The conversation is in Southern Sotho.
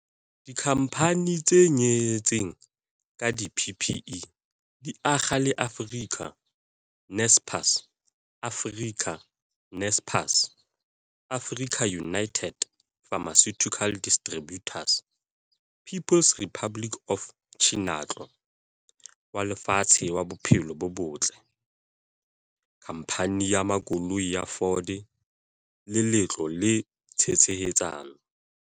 Dikhamphane tse nyehetseng ka di-PPE di akga le Africa, Naspers, Africa, Naspers, AfricaUnited Pharmaceutical Distributors, People's Republic of Chinatlo wa Lefatshe wa Bophelo bo Botle, WHO, Khamphane ya Makoloi ya Ford le Letlole la Tshehetsano.